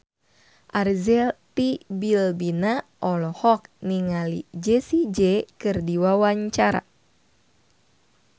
Arzetti Bilbina olohok ningali Jessie J keur diwawancara